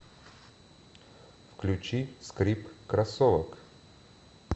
включи скрип кроссовок